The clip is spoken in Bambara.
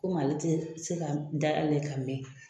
Komi ale tɛ se ka dayɛlɛ ka mɛɛn